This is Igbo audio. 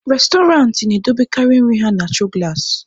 Restọrantị na-edobekarị nri ha na choo gụlasị.